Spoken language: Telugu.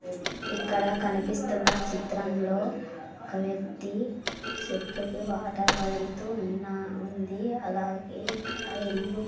ఇక్కడ కనిపిస్తున్న చిత్రంలో ఒక వ్యక్తి చెట్లకు వాటర్ వదులుతూ ఉన్నా ఉంది అలాగే ఇక్క ఇల్లు--